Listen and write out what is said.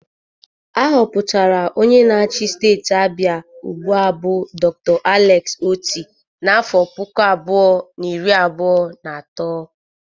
A họpụtara onye na-achi Steeti Abia ugbụa bụ Dr. Alex Otti n'afọ puku abụọ na iri abụọ na atọ.